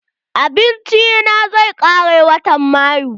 Abinci na zai kare watan mayu.